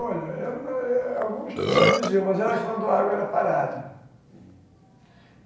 Olha, algumas pessoas diziam, mas era quando a água era parada.